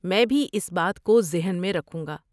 میں بھی اس بات کو ذہن میں رکھوں گا۔